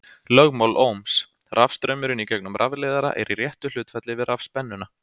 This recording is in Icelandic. Lögmál Ohms: Rafstraumurinn í gegnum rafleiðara er í réttu hlutfalli við rafspennuna.